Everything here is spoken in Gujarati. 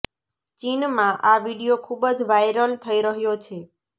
ચીનમાં આ વીડિયો ખૂબ જ વાયરલ થઇ રહ્યો છે